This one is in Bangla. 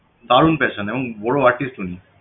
দারুণ passion এবং বড় artist উনি